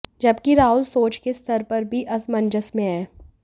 जबकि राहुल सोच के स्तर पर भी असमंजस में हैं